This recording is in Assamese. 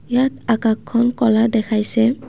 ইয়াত আকাশখন ক'লা দেখাইছে।